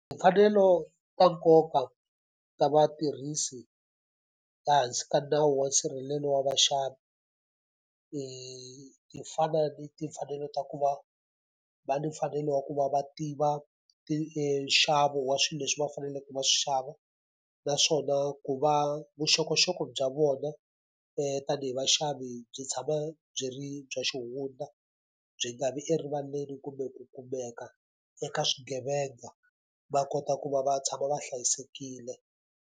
Timfanelo ta nkoka ta vatirhisi ehansi ka nawu wa nsirhelelo wa vaxavi ti fana ni timfanelo ta ku va va ni mfanelo wa ku va va tiva ti nxavo wa swilo leswi va faneleke va swi xava. Naswona ku va vuxokoxoko bya vona tanihi vaxavi byi tshama byi ri bya xihundla, byi nga vi erivaleni kumbe ku kumeka eka swigevenga. Va kota ku va va tshama va hlayisekile.